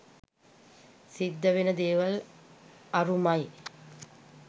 සිද්ධ වෙන දේවල් අරුමයි